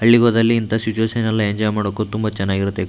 ಬೆಳಿಗ್ಹೋದಲ್ಲಿ ಇಂಥ ಶಚ್ಯುಯೆಶನ್‌ ಎಲ್ಲಾ ಎಂಜಾಯ್ ಮಾಡಬೇಕು ತುಂಬ ಚೆನ್ನಾಗಿರತ್ತೆ --